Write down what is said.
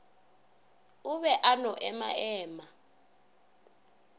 o be a no emaema